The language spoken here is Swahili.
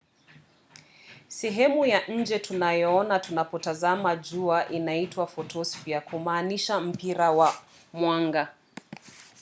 sehemu ya nje tunayoona tunapotazama jua inaitwa photosphere kumaanisha mpira wa mwanga